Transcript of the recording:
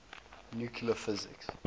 nuclear physics